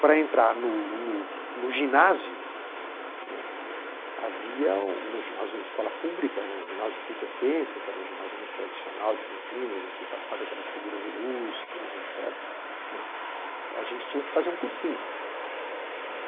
Para entrar no no no ginásio, não é, havia no Ginásio Escola Pública, né, o Ginásio Culta Ciência, que era um ginásio muito tradicional de Campinas, onde tinham passado aquelas figuras ilustres et cetera né, a gente tinha que fazer um cursinho.